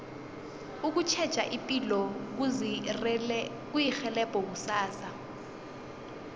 ukutjheja ipilo kuzirhelebha kusasa